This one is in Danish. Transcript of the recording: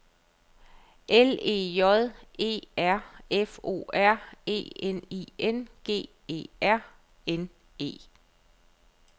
L E J E R F O R E N I N G E R N E